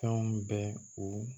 Fɛnw bɛ u